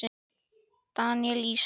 Daníel Ísak.